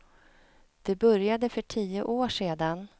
Det började för tio år sedan.